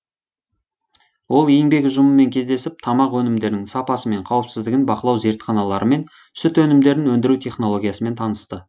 ол еңбек ұжымымен кездесіп тамақ өнімдерінің сапасы мен қауіпсіздігін бақылау зертханаларымен сүт өнімдерін өндіру технологиясымен танысты